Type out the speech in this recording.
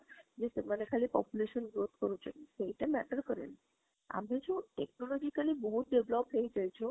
ଯେ ସେମାନେ ଖାଲି population growth କରୁଛନ୍ତି ସେଟା matter କାରେଣୀ, ଆମେ ଯୋଉ technologically ବହୁତ develop ହେଇ ଯାଇଛୁ